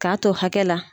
K'a to hakɛ la